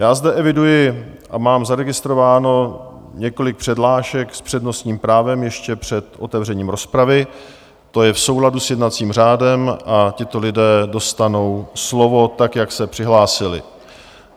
Já zde eviduji a mám zaregistrováno několik přihlášek s přednostním právem ještě před otevřením rozpravy, to je v souladu s jednacím řádem, a tito lidé dostanou slovo tak, jak se přihlásili.